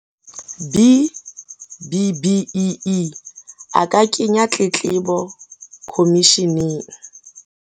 B-BBEE, a ka kenya tletlebo khomisheneng.